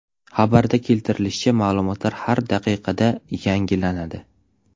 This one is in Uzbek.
Xabarda keltirilishicha, ma’lumotlar har daqiqada yangilanadi.